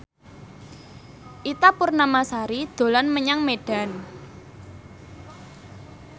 Ita Purnamasari dolan menyang Medan